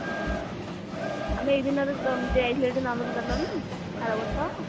ଆମେ ଏଇ ଦିନରେ ଯାଇଥିଲେ ଟି ନନ୍ଦନକାନନ ଆରବର୍ଷ